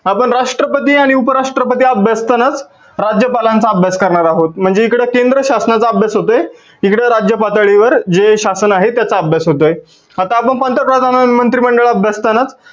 आपण राष्ट्रपती आणि उप राष्ट्रपती अभ्यासतांनाच राज्यपालांचा अभ्यास करणार आहोत. म्हणजे इकडे केंद्र शासनाचा अभ्यास होतो तिकडे राज्य पाताडीवर जे शासन आहे त्याचा अभ्यास होतोआहे. आता आपण पंतप्रधान आणि मंत्री मंडळ अभ्यासतांना